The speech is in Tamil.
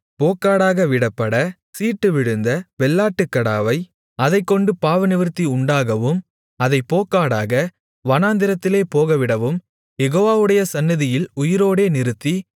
போக்காடாக விடப்படச் சீட்டு விழுந்த வெள்ளாட்டுக்கடாவை அதைக்கொண்டு பாவநிவிர்த்தி உண்டாக்கவும் அதைப் போக்காடாக வனாந்திரத்திலே போகவிடவும் யெகோவாவுடைய சந்நிதியில் உயிரோடே நிறுத்தி